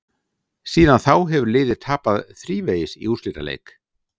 Síðan þá hefur liðið tapað þrívegis í úrslitaleik.